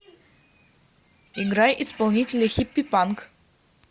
играй исполнителя хиппипанк